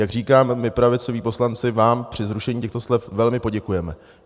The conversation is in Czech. Jak říkám, my pravicoví poslanci vám při zrušení těchto slev velmi poděkujeme.